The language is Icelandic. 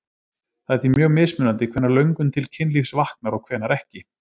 Það er því mjög mismunandi hvenær löngun til kynlífs vaknar og hvenær ekki.